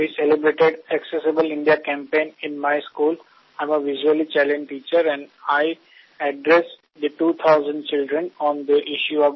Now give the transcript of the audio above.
মহাশয় আমরা আমাদের বিদ্যালয়ে অ্যাকসেসিবল ইন্দিয়া প্রচার চালিয়েছি